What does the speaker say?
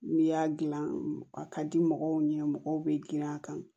N'i y'a gilan a ka di mɔgɔw ɲɛ mɔgɔw bɛ girin a kan